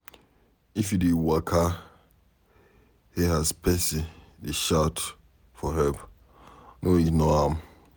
If you dey waka hear as pesin dey shout for help, no ignore am.